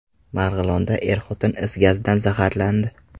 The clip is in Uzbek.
Marg‘ilonda er-xotin is gazidan zaharlandi.